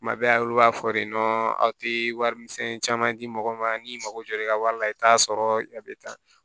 Kuma bɛɛ a olu b'a fɔ de nɔ aw tɛ wari misɛnnin caman di mɔgɔ ma n'i mago jɔra i ka wari la i bɛ t'a sɔrɔ a bɛ taa